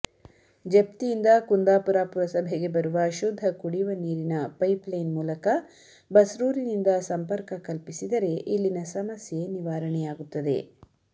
ಜಪ್ತಿಯಿಂದ ಕುಂದಾಪುರ ಪುರಸಭೆಗೆ ಬರುವ ಶುದ್ಧ ಕುಡಿಯುವ ನೀರಿನ ಪೈಪ್ಲೈನ್ ಮೂಲಕ ಬಸ್ರೂರಿನಿಂದ ಸಂಪರ್ಕ ಕಲ್ಪಿಸಿದರೆ ಇಲ್ಲಿನ ಸಮಸ್ಯೆ ನಿವಾರಣೆಯಾಗುತ್ತದೆ